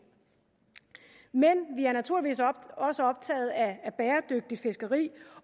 men vi er naturligvis også optaget af bæredygtigt fiskeri